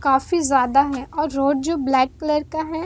काफी ज्यादा है और रोड जो ब्लैक कलर का है।